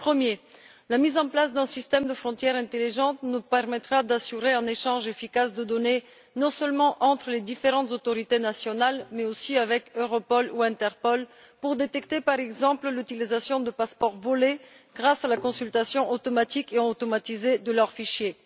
Premièrement, la mise en place d'un système de frontières intelligentes nous permettra d'échanger efficacement les données, non seulement entre les différentes autorités nationales mais aussi avec Europol ou Interpol, pour détecter, par exemple, l'utilisation de passeports volés grâce à la consultation automatique et automatisée de leurs fichiers.